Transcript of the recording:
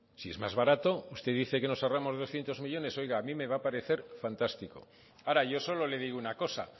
si es más barato usted dice que nos ahorramos doscientos millónes oiga a mí me va a parecer fantástico ahora yo solo le digo una cosa